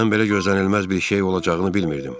Mən belə gözlənilməz bir şey olacağını bilmirdim.